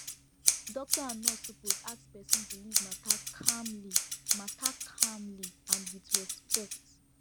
doctor and nurse suppose ask person belief matter calmly matter calmly and with respect